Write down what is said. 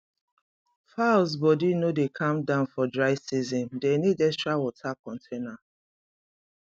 fowls body no dey calm down for dry season dem need extra water container